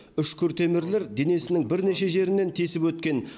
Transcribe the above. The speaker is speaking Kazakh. үшкір темірлер денесінің бірнеше жерінен тесіп өткен